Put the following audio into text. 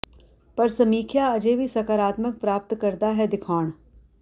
ਪਰ ਸਮੀਖਿਆ ਅਜੇ ਵੀ ਸਕਾਰਾਤਮਕ ਪ੍ਰਾਪਤ ਕਰਦਾ ਹੈ ਦਿਖਾਉਣ